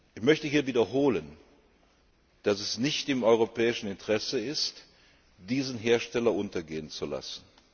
Ich möchte hier wiederholen, dass es nicht im europäischen Interesse ist, diesen Hersteller untergehen zu lassen!